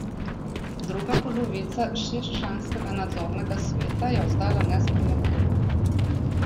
Druga polovica šestčlanskega nadzornega sveta je ostala nespremenjena.